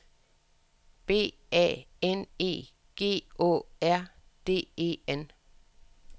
B A N E G Å R D E N